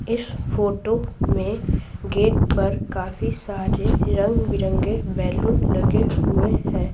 इस फोटो में गेट पर काफी सारे रंग-बिरंगे बैलून लगे हुए हैं।